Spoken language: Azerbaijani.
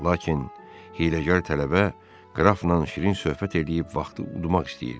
Lakin hiyləgər tələbə qrafla şirin söhbət eləyib vaxtı udmaq istəyirdi.